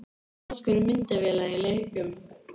Notkun myndavéla í leikjum?